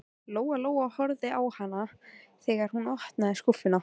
Lóa Lóa horfði á hana þegar hún opnaði skúffuna.